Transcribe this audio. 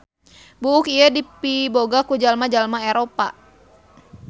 Buuk ieu dipiboga ku jalma-jalma Eropa.